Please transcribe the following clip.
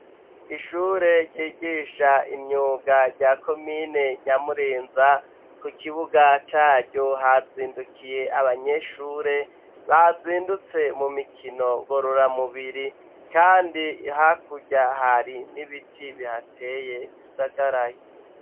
Ishure ryigisha imyuga rya komine nyamurenza, ku kibuga caryo hazindukiye abanyeshure bazindutse mu mikino ngororamubiri kandi hakurya hari n'ibiti bihateye bisagaraye.